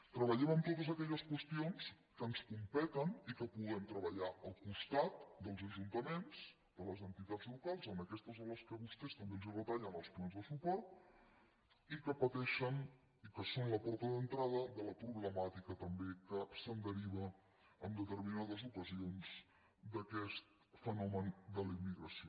treballem en totes aquelles qüestions que ens competeixen i que puguem treballar al costat dels ajuntaments de les entitats locals aquestes a les quals vostès també els retallen els plans de suport i que patei xen i que són la porta d’entrada de la problemàtica també que es deriva en determinades ocasions d’aquest fenomen de la immigració